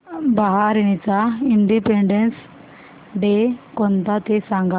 बहारीनचा Independence Day कोणता ते सांगा